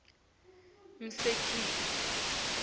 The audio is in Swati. mshikeleli